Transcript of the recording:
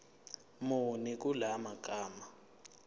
muni kula magama